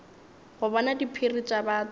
go bona diphiri tša batho